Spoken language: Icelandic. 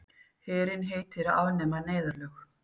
Herinn heitir að afnema neyðarlög